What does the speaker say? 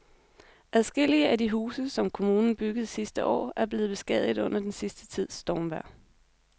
Adskillige af de huse, som kommunen byggede sidste år, er blevet beskadiget under den sidste tids stormvejr.